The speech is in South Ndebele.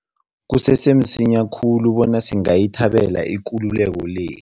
Kusese msinya khulu bona singayithabela ikululeko le.